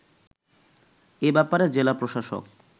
এ ব্যাপারে জেলা প্রশাসক